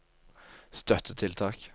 støttetiltak